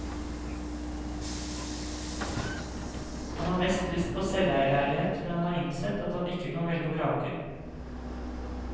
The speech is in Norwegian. Han har mest lyst på selveierleilighet, men han har innsett at han ikke kan velge og vrake.